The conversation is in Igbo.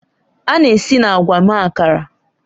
A na-esi na agwa mee Akara